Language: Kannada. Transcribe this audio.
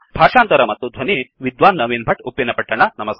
ಭಾಷಾಂತರ ಮತ್ತು ಧ್ವನಿ ವಿದ್ವಾನ್ ನವೀನ್ ಭಟ್ ಉಪ್ಪಿನಪಟ್ಟಣ